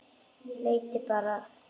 Leitið bara, feginn er ég.